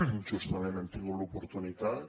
justament hem tingut l’oportunitat